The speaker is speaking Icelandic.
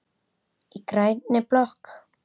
Í grænni blokk